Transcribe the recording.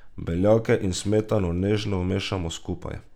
Beljake in smetano nežno vmešamo skupaj.